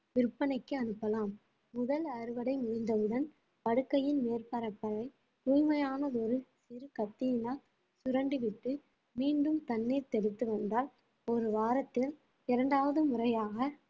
விற்பனைக்கு அனுப்பலாம் முதல் அறுவடை முடிந்தவுடன் படுக்கையின் மேற்பரப்பை தூய்மையான ஒரு சிறு கத்தியினால் சுரண்டிவிட்டு மீண்டும் தண்ணீர் தெளித்து வந்தால் ஒரு வாரத்தில் இரண்டாவது முறையாக